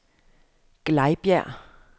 Glejbjerg